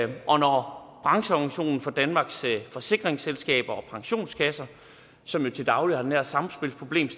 og når brancheorganisationen for danmarks forsikringsselskaber og pensionskasser som jo til daglig har de her samspilsproblemer